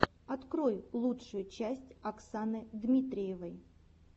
открой лучшую часть оксаны дмитриевой